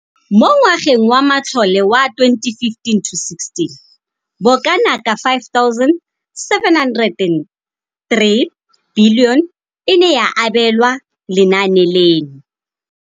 Mo ngwageng wa matlole wa 2015,16, bokanaka R5 703 bilione e ne ya abelwa lenaane leno.